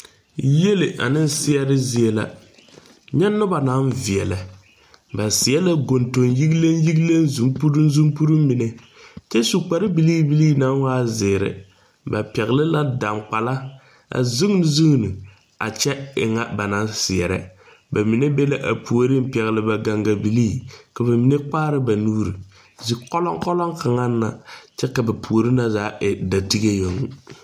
Yiele ane seɛɛre zie la nyɛ nobɔ naŋ veɛlɛ ba seɛ la goŋdoŋ yigleŋ yigleŋ zompuruŋ zompuruŋ mine kyɛ su kpare bilii bilii naŋ waa zeere ba pɛgle la daŋgbala a zuune zuune a kyɛ e ŋa ba naŋ seɛɛrɛ ba mine be la a puoriŋ pɛgle ba gaŋga bilii ka ba mine kpaara ba nuure ze kɔlɔŋkɔlɔŋ kaŋ na kyɛ ka ba puore na zaa e da tige yoŋ.